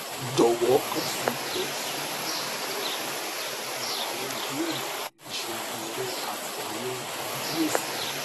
jọwọ kan si hcm lẹẹkansi pẹlu awọn ibeere iṣoogun rẹ ati awọn ifiyesi